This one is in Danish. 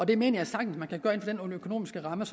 det mener jeg sagtens man kan gøre inden for den økonomiske ramme